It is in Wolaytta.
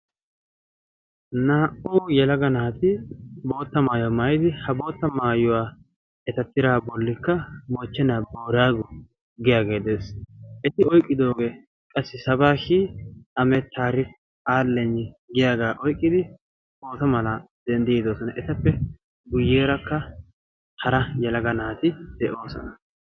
naa''u yalaga naati bootta maayuwaa maayidi ha bootta maayuwaa eta tira bolikka moochchena boraago giyaagee de'ees eti oyqqidoogee qassi sabaa shi amet tarik alen giyaagaa oyqqidi pooto mala denddiidoosona etappe guyyeerakka hara yalaga naati de7oosona